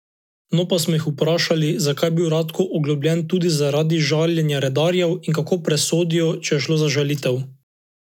No, pa smo jih vprašali, zakaj je bil Ratko oglobljen tudi zaradi žaljenja redarjev in kako presodijo, če je šlo za žalitev.